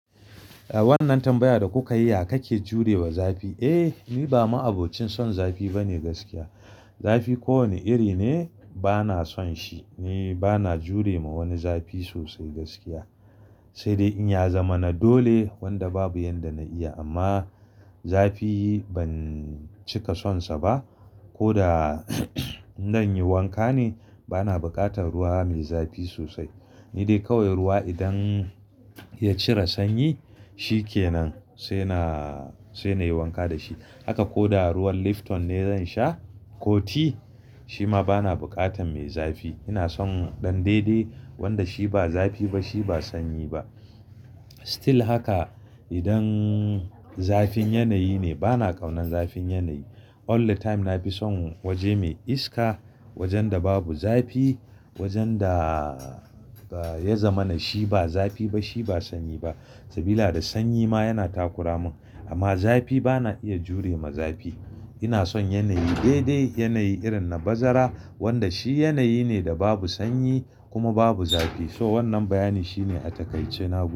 Eh wannan tambaya da kuka yi, "Ya kake jurewa zafi?" Eh ni ba ma'abocin son zafi bane gaskiya. Zafi ko wane iri ne bana son shi. Ni bana jure ma wani zafi sosai gaskiya. Sai dai in ya zama na dole wanda babu yanda na iya amma zafi ban cika son sa ba. Ko da zan yi wanka ne bana buƙatar ruwa mai zafi sosai. Ni dai kawai ruwa idan ya cire sanyi shikenan sai na, sai na yi wanka da shi. Haka ko da ruwan Lifton ne zan sha ko ti shima bana buƙatar mai zafi. Ina son ɗan daidai wanda shi ba zafi ba shi ba sanyi ba. Still haka idan zafin yanayi ne bana ƙaunar zafin yanayi. All the time na fi son waje mai iska, wajen da babu zafi, wajen da ya zama na shi ba zafi ba shi ba sanyi ba. Sabida sanyi ma yana takura mun amma zafi bana iya jure ma zafi. Ina son yanayi daidai, yanayi irin na bazara wanda shi yanayi ne da babu sanyi kuma babu zafi. So wannan bayanin shine a takaice na bu.